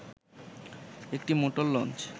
একটি motor launch